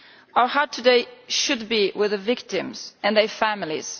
Our hearts today should be with the victims and their families.